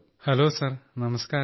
hello sir നമസ്കാരം